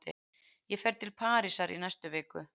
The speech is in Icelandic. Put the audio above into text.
Ég fer til Parísar í næstu viku.